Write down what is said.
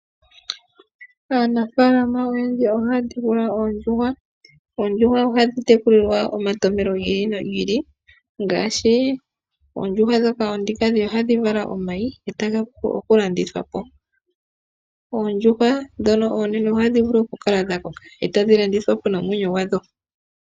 Aanafaalama oyendji ohaya tekula oondjuhwa. Oondjuhwa ohadhi tekulwa molwa omatompelo gi ili nogi ili ngaashi oonkadhindjuhwa ohadhi vala omayi e taga landithwa po noondjuhwa ndhono oonene ohadhi vulu okukala dha koka e tadhi landithwa po dhi na omwenyo.